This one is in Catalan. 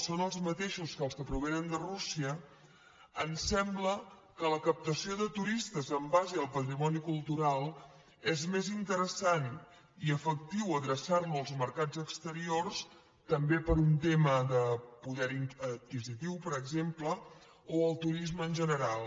són els mateixos que els que provenen de rússia ens sembla que la captació de turistes en base al patrimoni cultural és més interessant i efectiu adreçar la als mercats exteriors també per un tema de poder adquisitiu per exemple o al turisme en general